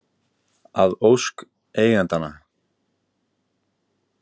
Að ósk eigendanna.